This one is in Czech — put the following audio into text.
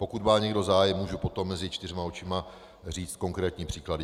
Pokud má někdo zájem, můžu potom mezi čtyřma očima říci konkrétní příklady.